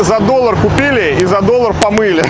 за доллар купили и за доллар помыли